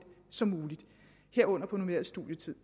som muligt herunder på normeret studietid